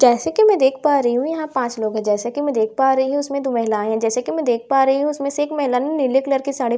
जैसे कि मैं देख पा रही हूं यहां पांच लोग हैं जैसे कि मैं देख पा रही हूं इसमें दो महिलायें हैं जैसे कि मैं देख पा रही हूं उसमें से एक महिला ने नीले कलर की साड़ी पहने--